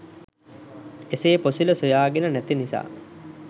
එසේ පොසිල සොයාගෙන නැති නිසා